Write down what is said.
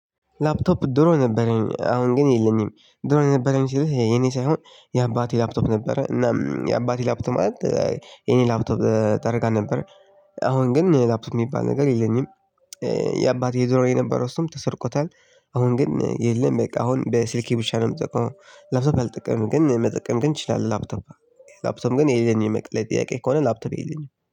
ላፕቶፕ ድሮ ነበረኝ አሁን ግን የለኝም ድሮ ነበረኝ ሲልህ የኔ ሳይሆን የአባቴ ላፕቶፕ ነበረ እና የአባቴ ላፕቶፕ ማለት የኔ ላፕቶፕ ተደርጋ ነበር። አሁን ግን ላፕቶፕ የሚባል ነገር የለኝም። የአባቴ የዞረ የነበረው እሱም ተሰርቆታል አሁን ግን የለም በቃ አሁን በስልኬ ብቻ ነው የምጠቀመው። ላፕቶፕ አልጠቀምክም ግን መጠቀም ግን እችላለሁ። ላፕቶፕ ላፕቶፕ ግን የሌለን የመቅለይ ጥያቄ ከሆነ ላፕቶፕ የሄደኝ